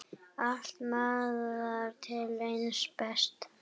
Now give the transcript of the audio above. Allt miðar til hins besta.